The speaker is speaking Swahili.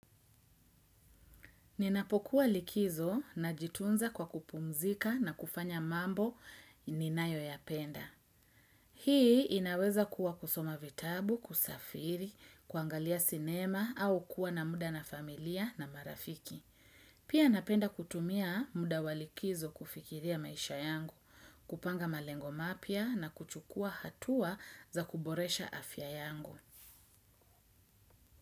Ninapokuwa likizo na jitunza kwa kupumzika na kufanya mambo ninayo ya penda. Hii inaweza kuwa kusoma vitabu, kusafiri, kuangalia sinema au kuwa na muda na familia na marafiki. Pia napenda kutumia muda wa likizo kufikiria maisha yangu, kupanga malengo mapya na kuchukua hatua za kuboresha afya yangu.